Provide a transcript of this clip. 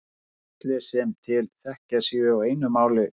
Ég held að allir sem til þekkja séu á einu máli um það.